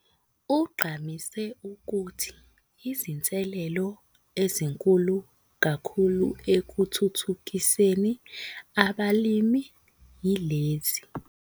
Ugqamise ukuthi izinselelo ezinkulu kakhulu ekuthuthukiseni abalimi yilezi.